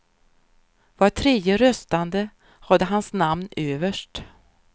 Var tredje röstande hade hans namn överst.